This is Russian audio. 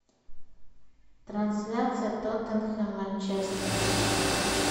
трансляция тоттенхэм манчестер